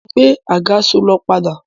Mo ń gbé àgàsọ̀ lọ padà